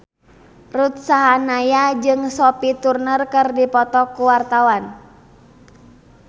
Ruth Sahanaya jeung Sophie Turner keur dipoto ku wartawan